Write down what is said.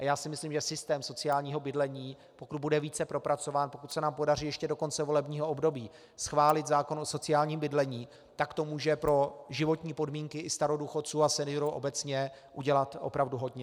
A já si myslím, že systém sociálního bydlení, pokud bude více propracován, pokud se nám podaří ještě do konce volebního období schválit zákon o sociálním bydlení, tak to může pro životní podmínky i starodůchodců a seniorů obecně udělat opravdu hodně.